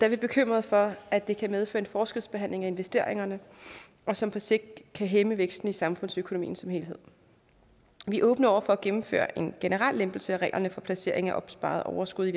er bekymrede for at det kan medføre en forskelsbehandling af investeringerne som på sigt kan hæmme væksten i samfundsøkonomien som helhed vi er åbne over for at gennemføre en generel lempelse af reglerne for placeringen af opsparede overskud